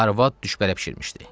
Arvad düşbərə bişirmişdi.